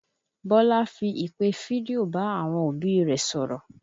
Bọlá fi ìpè fídíò bá àwọn òbí rẹ̀ sọ̀rọ̀